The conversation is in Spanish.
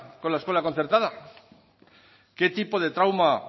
con la escuela concertada qué tipo de trauma